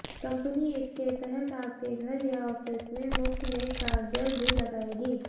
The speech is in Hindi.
कंपनी इसके तहत आपके घर या ऑफिस में मुफ्त में चार्जर भी लगाएगी